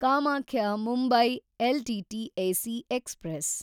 Kamakhya Mumbai LTT AC express